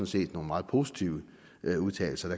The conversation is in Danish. set nogle meget positive udtalelser